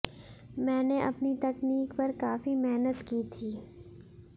मैंने अपनी तकनीक पर काफी मेहनत की थी